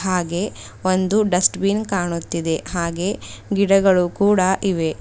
ಹಾಗೆ ಒಂದು dustbin ಕಾಣುತ್ತಿದೆ ಹಾಗೆ ಗಿಡಗಳು ಕೂಡ ಇವೆ.